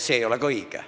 See ei oleks ka õige.